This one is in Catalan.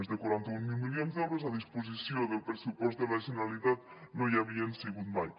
més de quaranta mil milions d’euros a disposició del pressupost de la generalitat no hi havien sigut mai